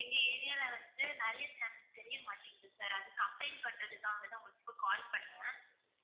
எங்க area ல வந்து நிறைய channels தெரியமாட்டிங்குது sir அது complaint பண்றதுகாக தான் உங்களுக்கு இப்ப call பண்ணேன்